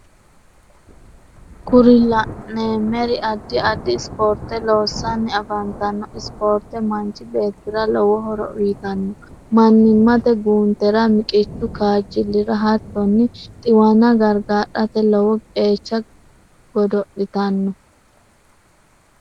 kuri la'neemeri addi addi sporte loossanni affantanno. spoorte manchi beettira lowo horo uyitanno. mannimate guuntera, miqqichu kaajjilira, hattonni xiwana gargarate lowo qeecha godo'litanno.